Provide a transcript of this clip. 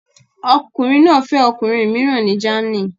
Ọkùnrin náà fẹ́ ọkùnrin mìíràn ní Germany